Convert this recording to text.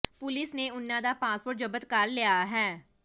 police ਨੇ ਉਨ੍ਹਾਂ ਦਾ ਪਾਸਪੋਰਟ ਜ਼ਬਤ ਕਰ ਲਿਆ ਹੈ